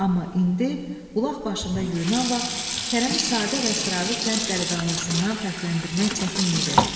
Amma indi, bulaq başında yuyunan vaxt Kərəmi sadə və sıravi kənd dəliqanlısından fərqləndirmək çətin idi.